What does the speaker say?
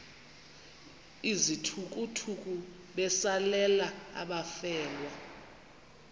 izithukuthuku besalela abafelwa